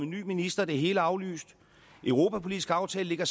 ny minister det hele er aflyst europapolitisk aftale ligger